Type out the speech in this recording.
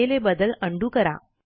केलेले बदल उंडो करा